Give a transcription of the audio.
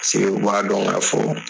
o b'a dɔn ka fɔ